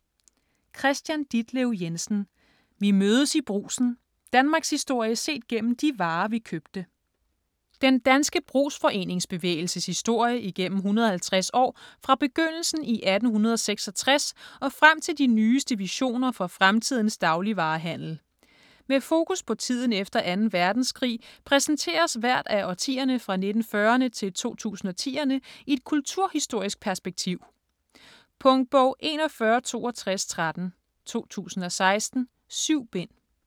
Jensen, Kristian Ditlev: Vi mødes i Brugsen: danmarkshistorie set gennem de varer, vi købte Den danske brugsforeningsbevægelses historie igennem 150 år fra begyndelsen i 1866 og frem til de nyeste visioner for fremtidens dagligvarehandel. Med fokus på tiden efter 2. verdenskrig præsenteres hvert af årtierne fra 1940'erne til 2010'erne i et kulturhistorisk perspektiv. Punktbog 416213 2016. 7 bind.